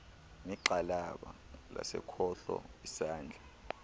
negxalaba lasekhohlo isandla